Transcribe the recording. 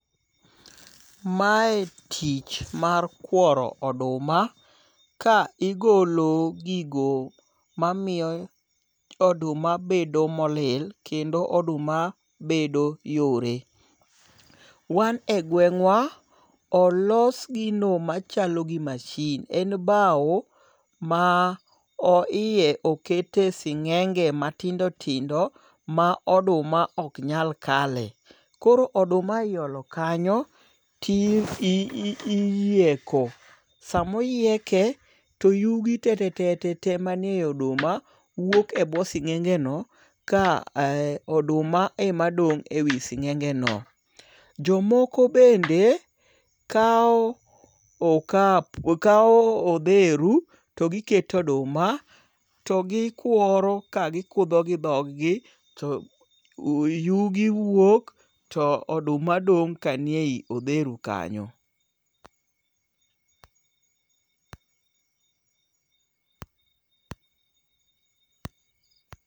Mae tich mar kworo oduma ka igolo gigo mamiyo oduma bedo molil, kendo oduma bedo yore. Wan e gweng'wa, olos gino machalo gi mashin. En bau ma o iye okete sing'enge matindotindo ma oduma ok nyal kale. Koro oduma iolo kanyo ti iyieko. Samoyieke to yugi te te te te ma ni ei oduma wuok ebwo sing'enge no ka oduma ema dong' ewi sing'enge no. Jomoko bende kao okapu, kao odheru to giketeoduma to gikworo ka gikudho gi dhog gi to yugi wuok. To oduma dong' kanie i odheru kanyo.